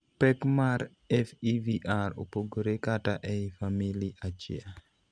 Pek mar FEVR opogore kata ei famili achiel.